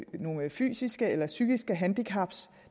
nogle fysiske eller psykiske handicap